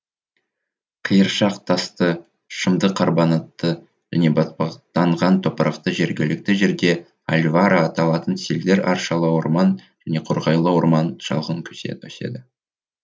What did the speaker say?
қиыршақ тасты шымды карбонатты және батпақтанған топырақта жергілікті жерде альвара аталатын селдір аршалы орман және қарағайлы орман шалғын өседі